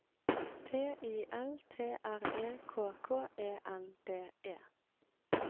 T I L T R E K K E N D E